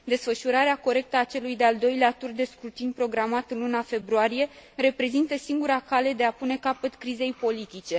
Desfășurarea corectă a celui de al doilea tur de scrutin, programat în luna februarie, reprezintă singura cale de a pune capăt crizei politice.